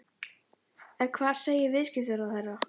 En hvað segir viðskiptaráðherra?